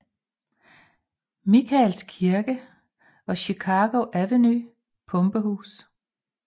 Michaels Kirke og Chicago Avenue pumpehus